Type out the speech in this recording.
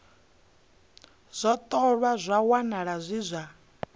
ṱolwa zwa wanala zwi zwa